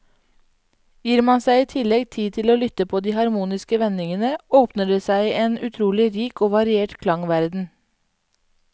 Gir man seg i tillegg tid til å lytte på de harmoniske vendingene, åpner det seg en utrolig rik og variert klangverden.